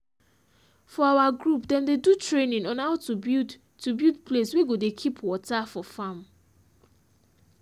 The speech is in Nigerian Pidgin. for our group dem dey do training on how to build to build place wey go dey keep water for farm